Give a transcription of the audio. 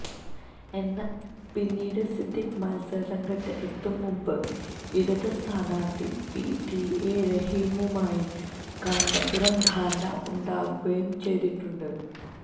എന്നാൽ പിന്നീട് സിദ്ദീഖ് മത്സരരംഗത്ത് എത്തും മുമ്പ് ഇടത് സ്ഥാനാർത്ഥി പിടിഎ റഹീമുമായി കാന്തപുരം ധാരണ ഉണ്ടാക്കുകയും ചെയ്തിട്ടുണ്ട്